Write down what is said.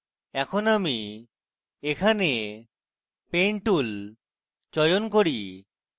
এখন আমি এখানে paint tool চয়ন করি